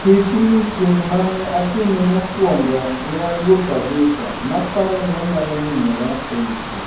Tichni chineng' mane atime mokwongo ne aluor kabisa, naparo ni anyalonymora ei pi.